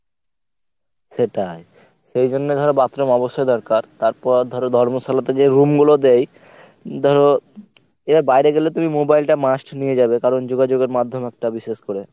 সেটাই। সেইজন্য ধর bathroom অবশ্যই দরকার তারপর আর ধর ধর্মশালাতে যে room গুলো দেয় ধর এবার বাইরে গেলে তুমি mobile টা must নিয়ে যাবে কারণ যোগযোগের মাধ্যম একটা বিশেষ করে